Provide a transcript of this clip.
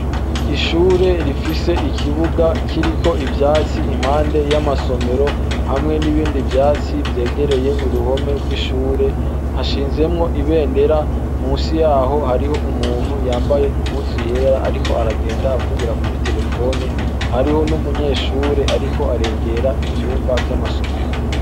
Ishure rifise ikibuga kiriko ivyatsi impande y'amasomero hamwe n'ibindi vyatsi vyegereye uruhome rw'ishure ,hashinzwemwo ibendera, munsi yaho hariho umuntu yambaye impuzu yera ariko aragenda avugira kuri terefone, hariho n'umunyeshure ariko aregera ivyumba vy'amasomero.